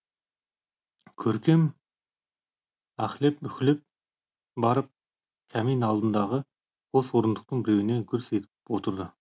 көркем аһлеп уһілеп барып камин алдындағы қос орындықтың біреуіне гүрс етіп отырды